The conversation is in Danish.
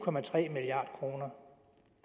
milliard kroner